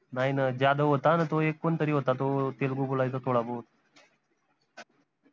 नाई न जाधव होता न तो एक कोनतरी होता तो तेलगू बोलायचा थोडा बोहोत